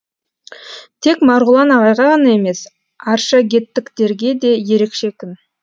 тек марғұлан ағайға ғана емес аршагеттіктерге де ерекше күн